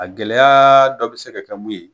A gɛlɛyaa dɔ be se ka kɛ mun ye